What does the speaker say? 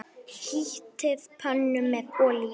Hitið pönnu með olíu.